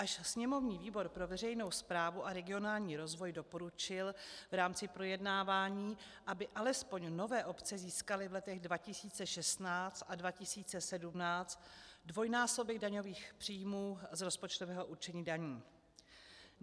Až sněmovní výbor pro veřejnou správu a regionální rozvoj doporučil v rámci projednávání, aby alespoň nové obce získaly v letech 2016 a 2017 dvojnásobek daňových příjmů z rozpočtového určení daní.